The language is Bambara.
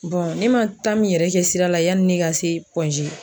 ne ma min yɛrɛ kɛ sira la yani ne ka se Point G.